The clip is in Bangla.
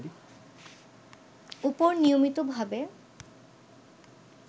উপর নিয়মিতভাবে